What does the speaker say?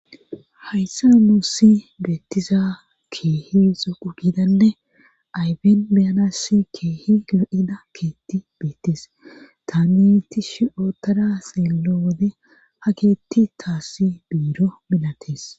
Hayssa muussi beettiza keehi zuu gidanne ayfen beyanass keehi gilo7ida keetti beettes taameti shi7o tada seello wode ha keetti taassi biiro milatees